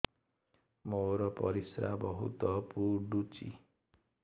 ମୋର ପରିସ୍ରା ବହୁତ ପୁଡୁଚି